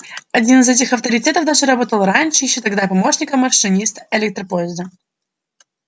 один из этих авторитетов даже работал раньше ещё тогда помощником машиниста электропоезда